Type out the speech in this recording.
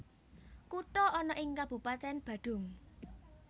Kuta ana ing Kabupatèn Badung